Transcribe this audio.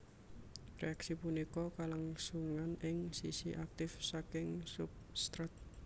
Reaksi punika kalangsungan ing sisi aktif saking substrat